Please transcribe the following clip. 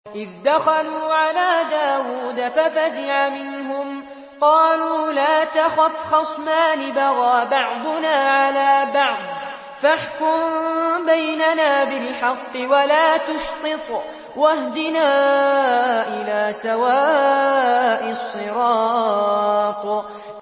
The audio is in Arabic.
إِذْ دَخَلُوا عَلَىٰ دَاوُودَ فَفَزِعَ مِنْهُمْ ۖ قَالُوا لَا تَخَفْ ۖ خَصْمَانِ بَغَىٰ بَعْضُنَا عَلَىٰ بَعْضٍ فَاحْكُم بَيْنَنَا بِالْحَقِّ وَلَا تُشْطِطْ وَاهْدِنَا إِلَىٰ سَوَاءِ الصِّرَاطِ